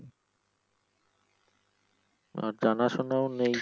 আর জানা শুনাও নেই।